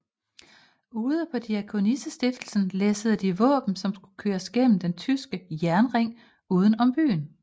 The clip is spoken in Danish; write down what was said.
Ude på Diakonissestiftelsen læssede de våben som skulle køres gennem den tyske jernring udenom om byen